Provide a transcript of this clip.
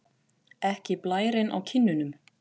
Ekki blærinn á kinnunum.